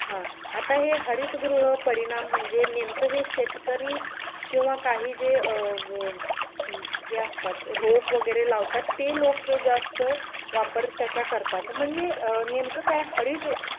हा आता हे हरित गृह परिणाम म्हणजे नेमकं हे शेतकरी किंवा काही जे अं हे असतात रोप वगैरे लावतात ते लोक हे जास्त वापर त्याचा करतात म्हणजे नेमकं काय हरित